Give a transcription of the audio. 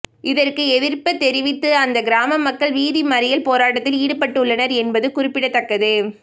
இதற்கு எதிர்ப்பு தெரிவித்து அந்த கிராம மக்கள் வீதி மறியல் போராட்டத்தில் ஈடுபட்டுள்ளனர் என்பது குறிப்பிடத்தக்கது